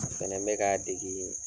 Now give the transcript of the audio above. Fana bɛ k'a dege